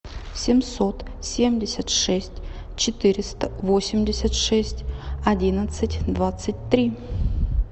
семьсот семьдесят шесть четыреста восемьдесят шесть одиннадцать двадцать три